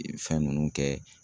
I bi fɛn ninnu kɛ.